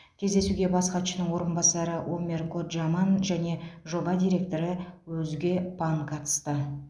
кездесуге бас хатшының орынбасары омер коджаман және жоба директоры озге пан катысты